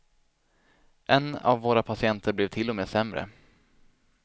En av våra patienter blev till och med sämre.